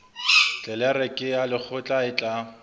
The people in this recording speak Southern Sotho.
tlelereke ya lekgotla e tla